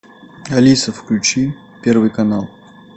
алиса включи первый канал